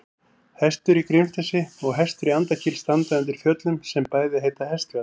Hestur í Grímsnesi og Hestur í Andakíl standa undir fjöllum sem bæði heita Hestfjall.